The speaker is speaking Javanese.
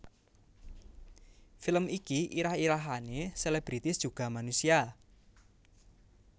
Film iki irah irahané Selebritis juga manusia